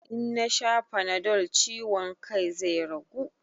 In nasha fanadol ciwon kan zai ragu?